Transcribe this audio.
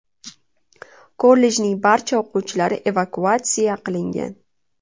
Kollejning barcha o‘quvchilari evakuatsiya qilingan.